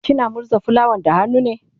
kina murza fulawan da hannu ne?